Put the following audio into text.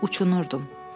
Uçunurdum.